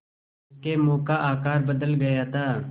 उसके मुँह का आकार बदल गया था